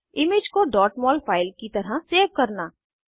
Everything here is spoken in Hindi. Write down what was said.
और इमेज को mol फाइल की तरह सेव करना